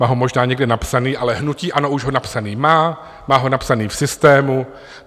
Má ho možná někde napsaný, ale hnutí ANO už ho napsaný má, má ho napsaný v systému.